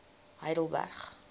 heidelberg